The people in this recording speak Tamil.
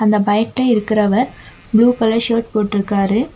இந்த பைக்ல இருக்கிறவர் புளூ கலர் ஷர்ட் போட்டுருக்காரு.